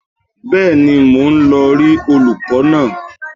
Bẹ́ẹ̀ni, mò ń lọ rí olùkọ́ náà